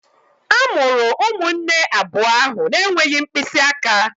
A mụrụ ụmụnne abụọ ahụ na-enweghị mkpịsị aka